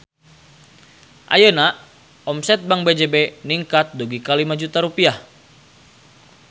Ayeuna omset Bank BJB ningkat dugi ka 5 juta rupiah